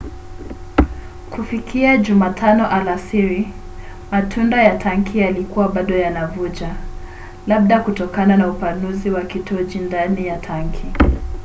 kufikia jumatano alasiri matundu ya tanki yalikuwa bado yanavuja labda kutokana na upanuzi wa kijoto ndani ya tanki